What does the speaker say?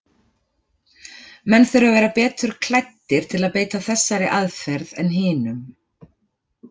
Menn þurfa að vera betur klæddir til að beita þessari aðferð en hinum.